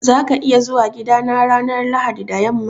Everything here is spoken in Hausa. Za ka iya zuwa gidana ranar Lahadi da yamma?